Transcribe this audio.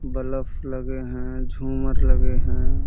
Bulb लगे हैं। झूमर लगे हैं।